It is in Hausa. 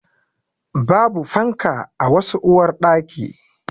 Babu fanka a wasu uwarɗaki.